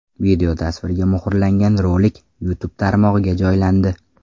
Videotasvirga muhrlangan rolik YouTube tarmog‘iga joylandi .